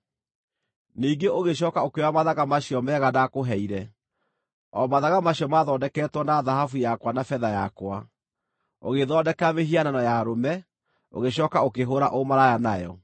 Ningĩ ũgĩcooka ũkĩoya mathaga macio mega ndaakũheire, o mathaga macio mathondeketwo na thahabu yakwa na betha yakwa, ũgĩĩthondekera mĩhianano ya arũme, ũgĩcooka ũkĩhũũra ũmaraya nayo.